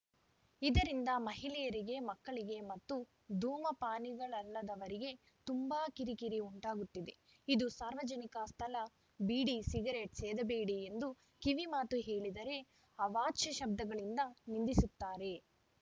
ಇದರಿಂದ ಮಹಿಳೆಯರಿಗೆ ಮಕ್ಕಳಿಗೆ ಮತ್ತು ಧೂಮಪಾನಿಗಳಲ್ಲದವರಿಗೆ ತುಂಬಾ ಕಿರಿ ಕಿರಿ ಉಂಟಾಗುತ್ತಿದೆ ಇದು ಸಾರ್ವಜನಿಕ ಸ್ಥಳ ಬೀಡಿ ಸಿಗರೇಟ್‌ ಸೇದಬೇಡಿ ಎಂದು ಕಿವಿ ಮಾತು ಹೇಳಿದರೆ ಅವಾಚ್ಯ ಶಬ್ದಗಳಿಂದ ನಿಂದಿಸುತ್ತಾರೆ